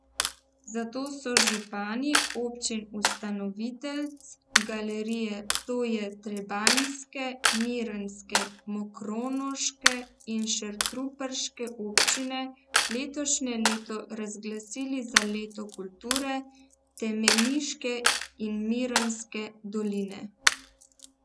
Zato so župani občin ustanoviteljic galerije, to je trebanjske, mirnske, mokronoške in šentruperške občine, letošnje leto razglasili za leto kulture Temeniške in Mirnske doline.